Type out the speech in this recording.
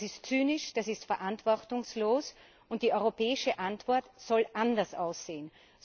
Das ist zynisch, das ist verantwortungslos, und die europäische Antwort soll anders aussehen.